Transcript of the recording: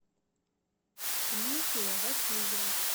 дмитрия васильева